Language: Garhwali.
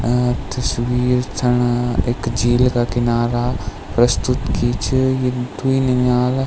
अ तस्वीर छण एक झील का किनारा प्रस्तुत की च ये द्वि लिम्याला।